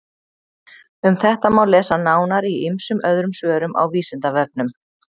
Um þetta má lesa nánar í ýmsum öðrum svörum á Vísindavefnum.